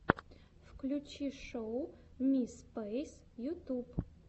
включи шоу ми спэйс ютюб